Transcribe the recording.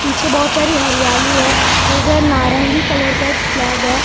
पीछे बहुत सारी हरियाली है उधर नारंगी कलर का एक फ्लैग है ऊपर एक ।